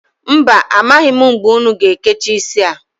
Mba, amaghi m mgbe unu ga-ekecha isi a.